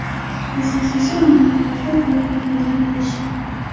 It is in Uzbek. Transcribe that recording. Asosiysi, uning atrofida to‘g‘ri odamlar bo‘lishi.